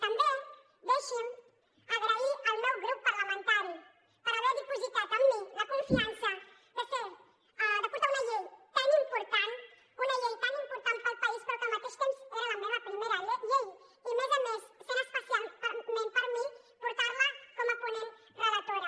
també deixin me donar les gràcies al meu grup parlamentari per haver dipositat en mi la confiança de portar una llei tan important una llei tant important per al país però que al mateix temps era la meva primera llei i a més a més era especial per a mi portar la com a ponent relatora